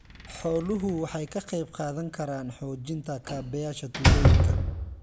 Xooluhu waxay ka qayb qaadan karaan xoojinta kaabayaasha tuulooyinka.